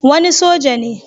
Wani soja ne